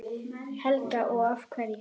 Helga: Og af hverju?